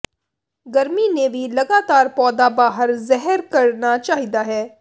ਗਰਮੀ ਨੇ ਵੀ ਲਗਾਤਾਰ ਪੌਦਾ ਬਾਹਰ ਜ਼ਾਹਿਰ ਕਰਨਾ ਚਾਹੀਦਾ ਹੈ